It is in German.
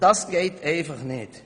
Dies geht einfach nicht.